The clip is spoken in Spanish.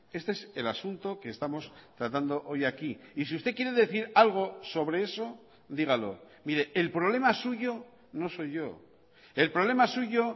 este es el asunto que estamos tratando hoy aquí y si usted quiere decir algo sobre eso dígalo mire el problema suyo no soy yo el problema suyo